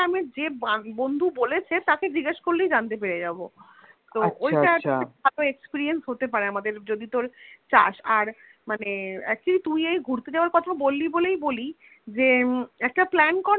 যে বন্ধু বলেছে তাকে জিজ্ঞেস করলেই জানতে পেরে যাবো তো আচ্ছা আচ্ছা ঐটা একটা ভালো Experience হতে পারে আমাদের যদি তোর চাস আর মানে Actually তুই এই ঘুরতে যাওয়ার কথা বললি বলেই বলি যে একটা Plan কর